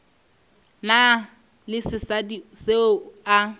na le sesadi seo a